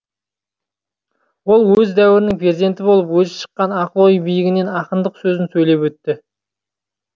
ол өз дәуірінің перзенті болып өзі шыққан ақыл ой биігінен ақындық сөзін сөйлеп өтті